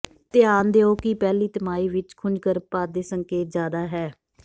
ਧਿਆਨ ਦਿਓ ਕਿ ਪਹਿਲੀ ਤਿਮਾਹੀ ਵਿੱਚ ਖੁੰਝ ਗਰਭਪਾਤ ਦੇ ਸੰਕੇਤ ਜ਼ਿਆਦਾ ਹੈ